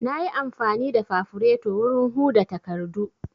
Na yi amfani da fafureto wurin huda takardu